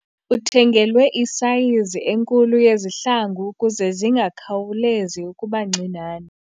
Uthengelwe isayizi enkulu yezihlangu ukuze zingakhawulezi ukuba ncinane.